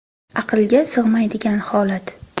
Aqlga sig‘maydigan holat.